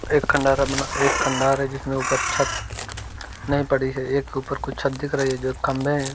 एक खंडहर है मने एक खंडहर है जिसमें ऊपर छत नहीं पड़ी है। एक के ऊपर कुछ छत दिख रही है जो खंभे हैं।